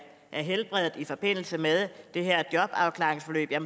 helbredet i forbindelse med det her jobafklaringsforløb